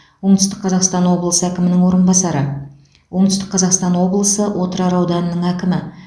оңтүстік қазақстан облысы әкімінің орынбасары оңтүстік қазақстан облысы отырар ауданының әкімі